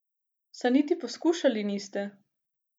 Saj niti poskušali niste.